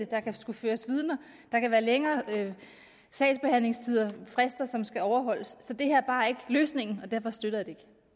der kan skulle føres vidner der kan være længere sagsbehandlingstidsfrister som skal overholdes så det her er bare ikke løsningen og derfor støtter